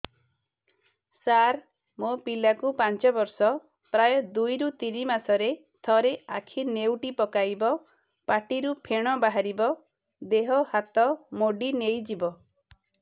ସାର ମୋ ପିଲା କୁ ପାଞ୍ଚ ବର୍ଷ ପ୍ରାୟ ଦୁଇରୁ ତିନି ମାସ ରେ ଥରେ ଆଖି ନେଉଟି ପକାଇବ ପାଟିରୁ ଫେଣ ବାହାରିବ ଦେହ ହାତ ମୋଡି ନେଇଯିବ